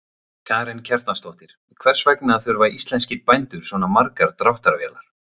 Karen Kjartansdóttir: Hvers vegna þurfa íslenskir bændur svona margar dráttarvélar?